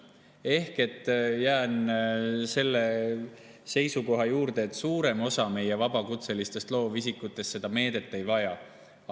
Ehk jään selle seisukoha juurde, et suurem osa meie vabakutselistest loovisikutest seda meedet ei vaja.